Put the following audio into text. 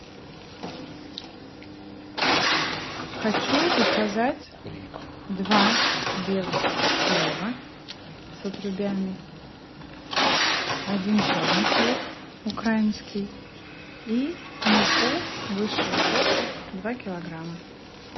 хочу заказать два белых хлеба с отрубями один черный хлеб украинский и муку высшего сорта два килограмма